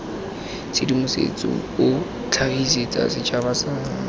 tshedimosetso o tlhagisetsa setšhaba sa